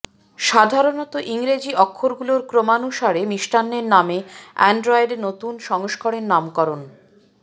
সাধারণত ইংরেজি অক্ষরগুলোর ক্রমানুসারে মিষ্টান্নের নামে অ্যান্ড্রয়েডের নতুন সংস্করণের নামকরণ